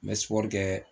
N bɛ sɔ kɛ